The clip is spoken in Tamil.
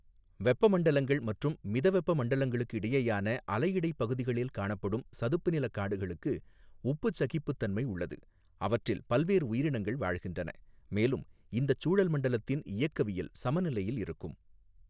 வெப்பமண்டலங்கள் மற்றும் மிதவெப்ப மண்டலங்களுக்கிடையேயான அலையிடைப் பகுதிகளில் காணப்படும் சதுப்புநிலக் காடுகளுக்கு உப்புச் சகிப்புத்தன்மை உள்ளது, அவற்றில் பல்வேறு உயிரினங்கள் வாழ்கின்றன, மேலும் இந்தச் சூழல் மண்டலத்தின் இயக்கவியல் சமநிலையில் இருக்கும்.